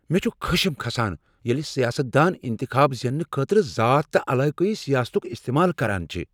مےٚ چُھ خشم كھسان ییلہِ سیاستدان انتخاب زیننہٕ خٲطرٕ ذات تہٕ علاقٲیی سیاستُك استمال كران چھِ ۔